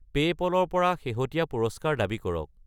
PayPal ৰ পৰা শেহতীয়া পুৰস্কাৰ দাবী কৰক।